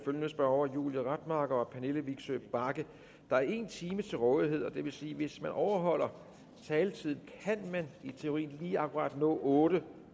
følgende spørgere julie rademacher pernille vigsø bagge der er en time til rådighed og det vil sige at hvis man overholder taletiden kan man i teorien lige akkurat nå otte